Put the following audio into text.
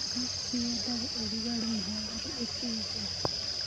Kabeci yendaga ũrugarĩ mũhoreru ĩkĩigwo..